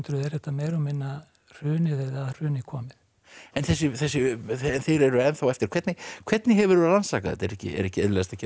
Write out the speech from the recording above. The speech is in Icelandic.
er þetta meira og minna hrunið eða að hruni komið en þeir eru ennþá eftir hvernig hvernig hefurðu rannsakað þetta er ekki er ekki auðveldast að gera það